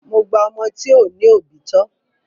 Mo gba ọmọ tí ò ní òbí tọ.